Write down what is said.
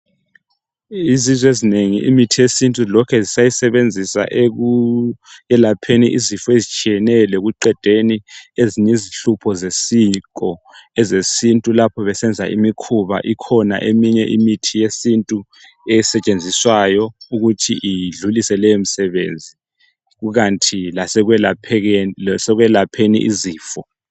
Izizwe ezinengi imithi lokhe ziyisebenzisa ekulapheni izifo ezitshiyeneyo lokuedeni ezinye izihlupho zesiko ezesintu lapho besenza imikhuba ikhona eminye imithi yesintu esetshenziswayo ukuthi idlulise leyo msebenzi kukanti lasekwelaphekeni lasekwelapheni izifo